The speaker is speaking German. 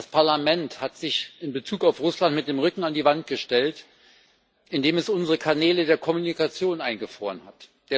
Das Parlament hat sich in Bezug auf Russland mit dem Rücken an die Wand gestellt, indem es unsere Kanäle der Kommunikation eingefroren hat.